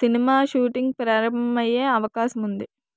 cinema shooting ప్రారంభమయ్యే అవకాశముంది